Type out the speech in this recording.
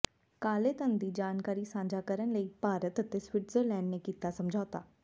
ਕਾਲੇ ਧਨ ਦੀ ਜਾਣਕਾਰੀ ਸਾਂਝਾ ਕਰਨ ਲਈ ਭਾਰਤ ਅਤੇ ਸਵਿਟਜ਼ਰਲੈਂਡ ਨੇ ਕੀਤਾ ਸਮਝੌਤਾ